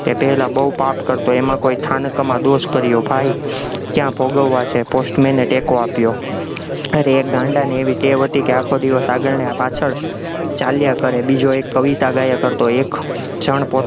એ પહેલા બોવ પાપ કરતો, એમાં કોઈ થાનકમા દોષ કર્યો થાય, ક્યાં ભોગવવા છે, post man એ ટેકો આપ્યો, અરે એક ગાંડાને એવી ટેવ હતી કે આખો દિવસ આગળ ને પાછળ ચાલ્યા કરે, બીજો એક કવિતા ગયા કરતો, એક જાણ પોત